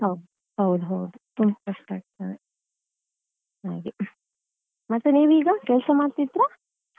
ಹೌದೌದು ತುಂಬ ಕಷ್ಟ ಆಗ್ತದೆ ಹಾಗೆ ಮತ್ತೆ ನೀವ್ ಈಗ ಕೆಲಸ ಮಾಡ್ತಿದ್ರಾ?